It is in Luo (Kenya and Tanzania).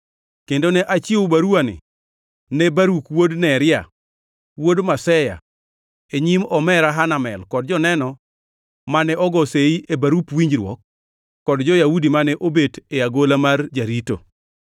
kendo ne achiwo baruwani ne Baruk wuod Neria, wuod Maseya, e nyim omera Hanamel kod joneno mane ogo seyi e barup winjruok kod jo-Yahudi mane obet e agola mar jarito.